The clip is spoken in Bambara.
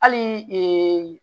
Hali